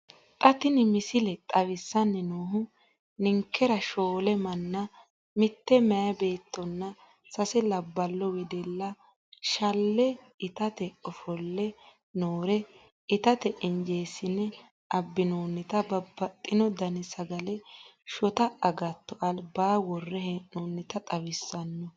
Xa tini missile xawissanni noohu ninkera shoole manna, mitte meyaa beettonna sase labballo wedella, shale itate ofolle noore, itate injeessine abbinoonnita babbaxxino dani sagale, shota agatto albaa worre hee'noonnita xawissanno.